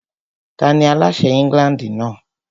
Tani aláṣẹ England náà?